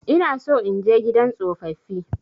Ina so in je gidan tsofaffi.